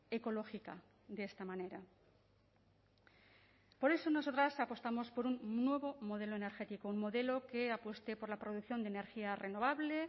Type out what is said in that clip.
ecológica de esta manera por eso nosotras apostamos por un nuevo modelo energético un modelo que apueste por la producción de energía renovable